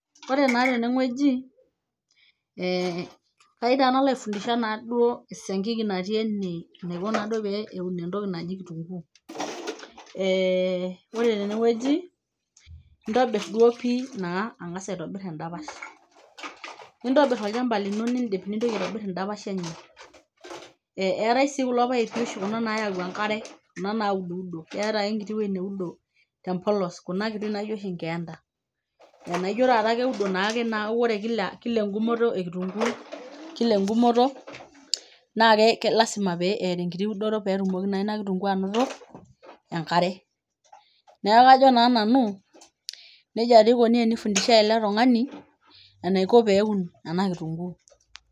Ore naa tene wueji ee faida nalo aifundisha naa duo esiankiki natii ene enaiko naa duo pee eun entoki naji kitunguu. Eee ore tene wueji intobir duo pii ang'as aitobir endapash, nintobir olchamba lino niindip nintoki aitobir endapash i enye. Eeetai sii kulo paipi oshi kuna nayau enkare kuna naududo, keeta ake enkiti wuei naudo te mpolos kuna kuti naiijo oshi nkeenda enaijo taata keudo naake naa ore kila eng'umoto e kitunguu kila eng'umoto naake lazima pee eeta enkiti udoto pee etumoki naa ina kitunguu anoto enkare. Neeku ajo naa nanu neja dii ikuni enifunshai ele tung'ani enaiko pee eun ena kitunguu.